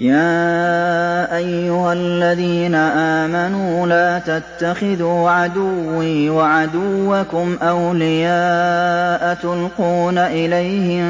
يَا أَيُّهَا الَّذِينَ آمَنُوا لَا تَتَّخِذُوا عَدُوِّي وَعَدُوَّكُمْ أَوْلِيَاءَ تُلْقُونَ إِلَيْهِم